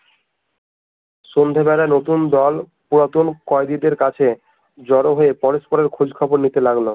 সন্ধ্যেবেলা নতুন দল পুরাতন কয়েদিদের কাছে জড়ো হয়ে পলাশপুরের খোঁজ খবর নিতে লাগলো